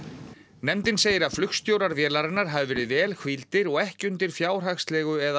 nefndin segir að flugstjórar vélarinnar hafi verið vel hvíldir og ekki undir fjárhagslegu eða